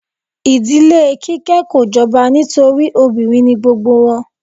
Ìdílé Kíké kò jọba nítorí obìnrin ni gbogbo wọn.